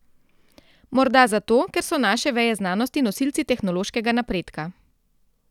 Morda zato, ker so naše veje znanosti nosilci tehnološkega napredka.